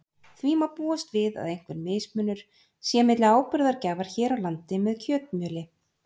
Því má búast við að einhver mismunur sé milli áburðargjafar hér á landi með kjötmjöli.